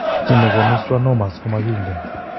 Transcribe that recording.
Kiiy ne koonu schwannomas komakiinken.